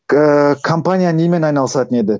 ыыы компания немен айналысатын еді